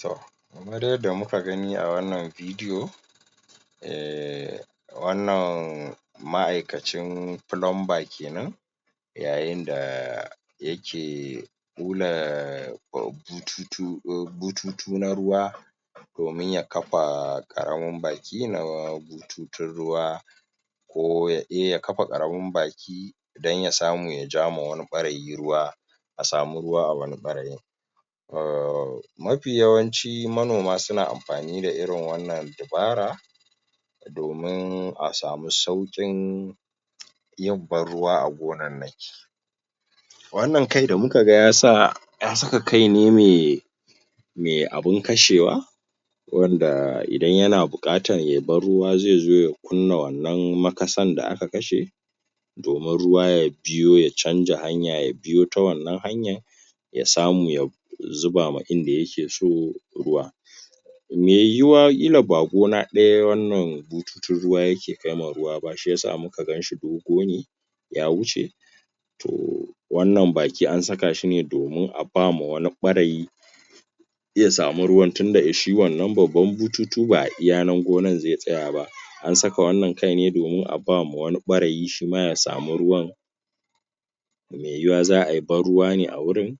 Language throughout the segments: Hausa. Toh! kamar yanda muka gani a wannan vidiyo um wannan.. ma'aikacin fulumba kenan yayin daa yakee ɓulaa bututu bututu na ruwa domin ya kafaa ƙaramin baki naa bututun ruwa ko ya eh ya kafa ƙaramin baki don ya samu ya jaa ma wani ɓarayi ruwa a samu ruwa a wani ɓarayin um mafi yawanci manoma suna amfani da irin wannan dabara domin a samu sauƙin yin banruwa a gonannaki wannan kai da muka ga yasa ya saka kai ne mai mai abin kashewa wanda idan yana buƙatan ye banruwa zai zo ya kunna wannan makasan da aka kashe domin ruwa ya juyo ya canza hanya ya biyo ta wannan hanyan ya samu ya ya zuba ma inda yake so ruwa mai yiwuwa ƙila ba gona ɗaya wannan bututun ruwa yake kaima ruwa ba shiyasa muka ganshi dogo ne ya wuce toh wannan baki an saka shi ne domin a bama wani ɓarayi ya samu ruwan tunda shi wannan babban bututu ba ai iya nan gonan zai tsaya ba an saka wannan kaine domin a bama wani ɓarayi shima ya samu ruwan mai yiyuwa za ai banruwa ne a wurin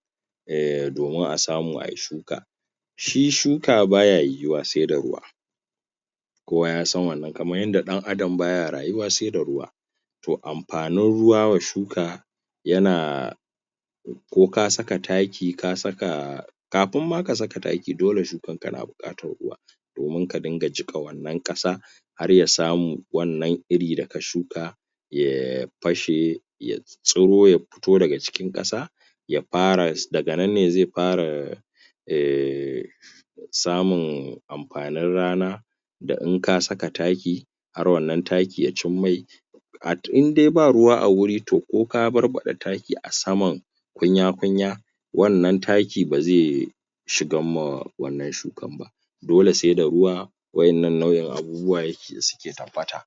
um domin a samu ai shuka shi shuka baya yiyiwa sai da ruwa kowa ya san wannan kamar yanda ɗan adam baya rayuwa sai da ruwa toh amfanin ruwa wa shuka yanaa ko ka saka taki ka saka kafun ma ka saka taki dole shukan ka na buƙatar ruwa domin ka dunga jiƙa wannan ƙasa har ya samu wannan iri daka shuka yaa fashe ya tsuro ya futo daga cikin ƙasa ya fara, daga nan ne zai fara um samun amfanin rana da in ka saka taki har wannan taki ya cin mai indai ba ruwa a wuri toh ko ka barbaɗa taki a saman kunya-kunya wannan taki bazai shigan ma wannan shukan ba dole sai da ruwa wa'innan nau'in abubuwai da suke tabbata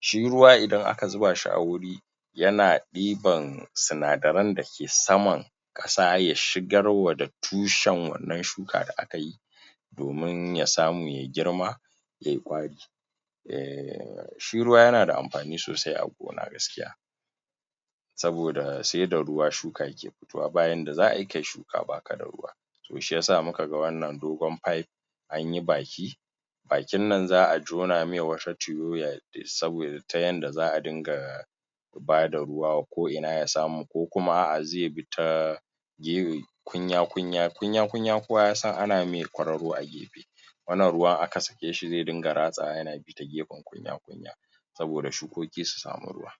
shi ruwa idan aka zuba shi a wuri yana ɗiban sinadaran da ke saman ƙasa ya shigarwa da tushen wannan shuka da akayi domin ya samu ye girma ye ƙwari um shi ruwa yana da amfani sosai a gona gaskiya saboda sai da ruwa shuka ke fitowa, ba yanda za ai kai shuka baka da ruwa toh shiyasa muka ga wannan dogon fayef anyi baki bakin nan za'a jona mai wata ya ta yanda za'a dinga bada ruwa ko ina ya samu ko kuma a'a zai bi ta kunya-kunya, kunya-kunya kowa ya san ana mai kwaroro ai wannan ruwa aka sake shi zai dunga ratsawa yana saboda shukoki su samu ruwa